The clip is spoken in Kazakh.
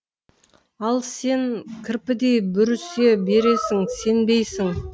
ал сен кірпідей бүрісе бересің сенбейсің